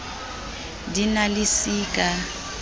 di na le c ka